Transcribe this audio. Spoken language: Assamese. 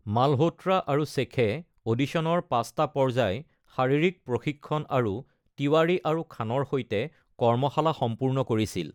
মালহোত্ৰা আৰু শ্বেখে অডিশ্যনৰ পাঁচটা পৰ্যায়, শাৰীৰিক প্ৰশিক্ষণ আৰু তিৱাৰী আৰু খানৰ সৈতে কৰ্মশালা সম্পূৰ্ণ কৰিছিল।